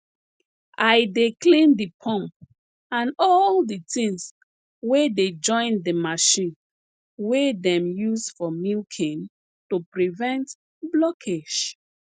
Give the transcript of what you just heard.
i dey clean de pump and all de tins wey dey join de machine wey dem use for milking to prevent blockage